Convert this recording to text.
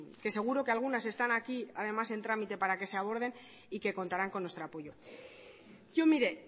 que seguro que algunas están aquí además en trámite para que se aborden y que contarán con nuestro apoyo yo mire